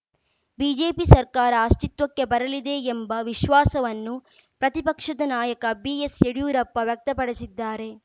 BJP ಸರ್ಕಾರ ಅಸ್ತಿತ್ವಕ್ಕೆ ಬರಲಿದೆ ಎಂಬ ವಿಶ್ವಾಸವನ್ನು ಪ್ರತಿಪಕ್ಷದ ನಾಯಕ ಬಿಎಸ್‌ಯಡಿಯೂರಪ್ಪ ವ್ಯಕ್ತಪಡಿಸಿದ್ದಾರೆ